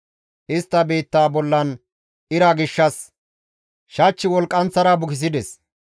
Istta biitta bollan ira gishshas shach wolqqanththara bukisides.